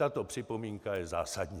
Tato připomínka je zásadní.